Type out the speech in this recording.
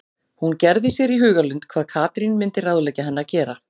Hún gerði sér í hugarlund hvað Katrín myndi ráðleggja henni að gera.